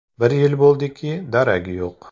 Bir yil bo‘ldiki, daragi yo‘q.